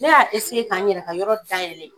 Ne ya ka n yɛrɛ ka yɔrɔ da yɛlɛlen.